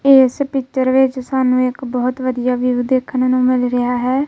ਇਸ ਪਿੱਚਰ ਵਿੱਚ ਸਾਨੂੰ ਇੱਕ ਬਹੁਤ ਵਧੀਆ ਵਿਊ ਦੇਖਣ ਨੂੰ ਮਿਲ ਰਿਹਾ ਹੈ।